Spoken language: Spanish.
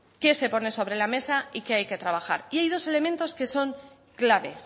qué se pone sobre la mesa y qué hay que trabajar y hay dos elementos que son clave